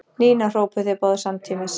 Nína! hrópuðu þeir báðir samtímis.